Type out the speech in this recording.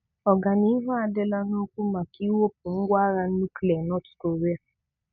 Ọgànìhù adị̀là n’òkwù màkà ị̀wepụ ngwàghà nùklíà Nọt Kòríà.